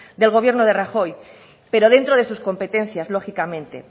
del gobierno de rajoy pero dentro de sus competencias lógicamente